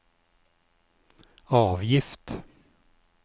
avgift